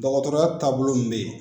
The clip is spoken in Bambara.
Dɔgɔtɔrɔya taabolo min bɛ yen